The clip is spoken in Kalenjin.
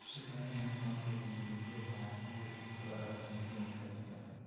letogei niton kobun tinget abgei ak karotik cheinfected